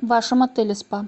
в вашем отеле спа